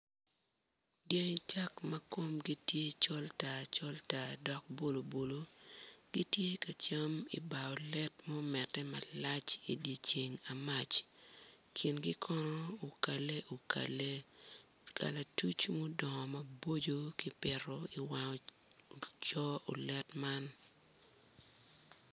Dyango cak ma komgi tye col tar col tar dok bulobulo gitye ka cam i bar olet ma omete malac idye ceng amac kingi kono okale okale kalatuc ma odongo maboco kipito iwang coo olet man.